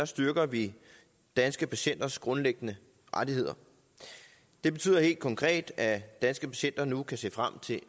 styrker vi danske patienters grundlæggende rettigheder det betyder helt konkret at danske patienter nu kan se frem til